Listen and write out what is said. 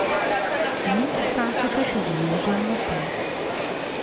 V njih skačeta tudi Jože in Matej.